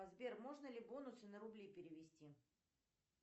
сбер можно ли бонусы на рубли перевести